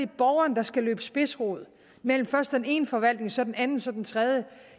borgeren der skal løbe spidsrod mellem først den ene forvaltning så den anden så den tredje